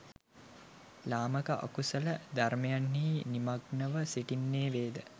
ලාමක අකුසල ධර්මයන්හි නිමග්නව සිටින්නේ වේද